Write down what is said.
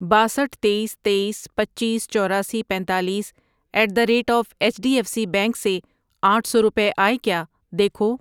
باسٹھ ،تییس، تییس، پنچیس، چوراسی، پینتالیس at the rate of H D F C bank سے آٹھ سو روپے آئے کیا دیکھو۔